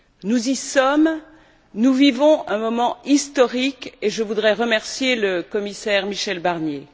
Nous y sommes, nous vivons un moment historique, et je voudrais remercier le commissaire Michel Barnier.